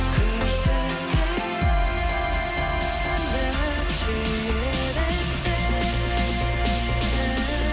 күрсінбе енді сүйеді сені